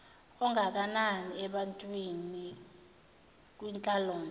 ongakanani ebantwini kwinhlalonhle